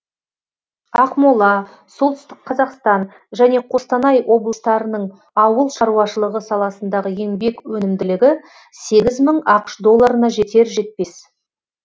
ақмола солтүстік қазақстан және қостанай облыстарының ауыл шаруашылығы саласындағы еңбек өнімділігі сегіз мың ақш долларына жетер жетпес